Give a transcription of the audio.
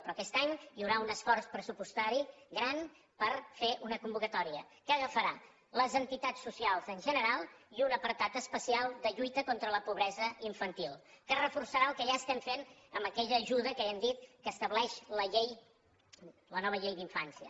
però aquest any hi haurà un esforç pressupostari gran per fer una convocatòria que agafarà les entitats socials en general i un apartat especial de lluita contra la pobresa infantil que reforçarà el que ja estem fent amb aquella ajuda que ja hem dit que estableix la llei la nova llei d’infància